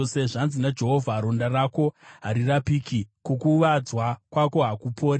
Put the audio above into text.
“Zvanzi naJehovha: “ ‘Ronda rako harirapiki, kukuvadzwa kwako hakupori.